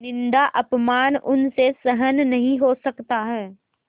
निन्दाअपमान उनसे सहन नहीं हो सकता है